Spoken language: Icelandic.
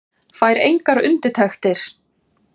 Fær engar undirtektir.